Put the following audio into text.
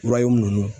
ninnu